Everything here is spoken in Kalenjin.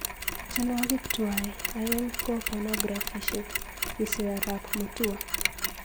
Tienwogik tuwai aeng ko ponografisiek,"kisiir arap Mutua.